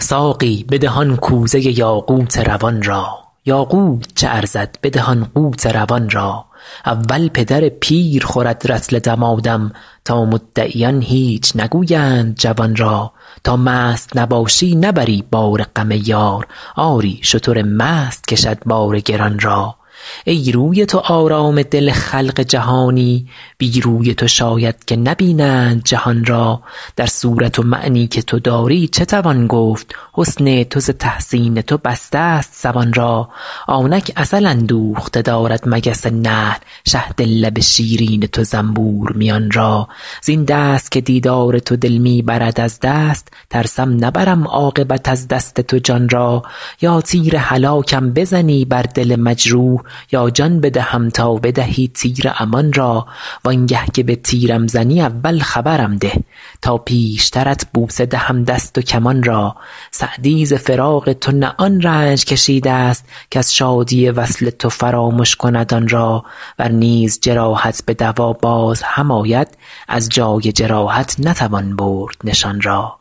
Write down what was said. ساقی بده آن کوزه یاقوت روان را یاقوت چه ارزد بده آن قوت روان را اول پدر پیر خورد رطل دمادم تا مدعیان هیچ نگویند جوان را تا مست نباشی نبری بار غم یار آری شتر مست کشد بار گران را ای روی تو آرام دل خلق جهانی بی روی تو شاید که نبینند جهان را در صورت و معنی که تو داری چه توان گفت حسن تو ز تحسین تو بستست زبان را آنک عسل اندوخته دارد مگس نحل شهد لب شیرین تو زنبور میان را زین دست که دیدار تو دل می برد از دست ترسم نبرم عاقبت از دست تو جان را یا تیر هلاکم بزنی بر دل مجروح یا جان بدهم تا بدهی تیر امان را وان گه که به تیرم زنی اول خبرم ده تا پیشترت بوسه دهم دست و کمان را سعدی ز فراق تو نه آن رنج کشیدست کز شادی وصل تو فرامش کند آن را ور نیز جراحت به دوا باز هم آید از جای جراحت نتوان برد نشان را